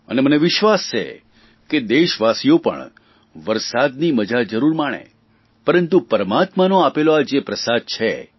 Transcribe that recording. અને મને વિશ્વાસ છે કે દેશવાસીઓ પણ વરસાદની મજા જરૂર માણે પરંતુ પરમાત્માનો આપેલો જે પ્રસાદ છે